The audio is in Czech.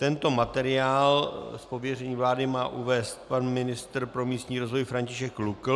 Tento materiál z pověření vlády má uvést pan ministr pro místní rozvoj František Lukl.